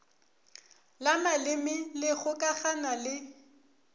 la maleme le kgokagana le